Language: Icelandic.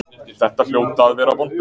Þetta hljóta að vera vonbrigði?